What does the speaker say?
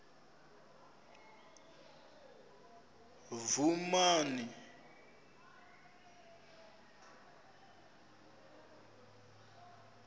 vhumani